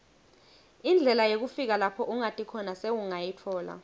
indlela yekufika lapho ungati khona sowungayitfola